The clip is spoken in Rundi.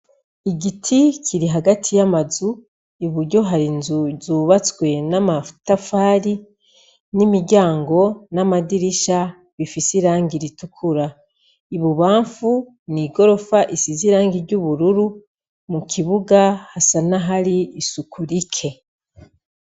igiti kiri hagati y'amazu, i buryo hari inzu zubatswe n'amatafari n'imiryango n'amadirisha bifise irangi ritukura. Ibubamfu, ni igorofa risize irangi ry'ubururu, mu kibuga hasa n'ahari isuku rike.